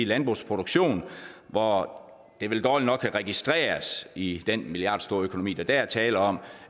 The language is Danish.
landbrugsproduktion hvor det vel dårligt nok kan registreres i den milliardstore økonomi der er tale om